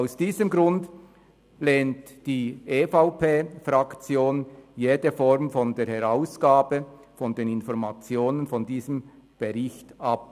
Aus diesem Grund lehnt die EVP-Fraktion jede Form der Herausgabe von Informationen aus diesem Bericht ab.